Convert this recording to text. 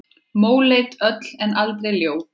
Móleit öll en aldrei ljót.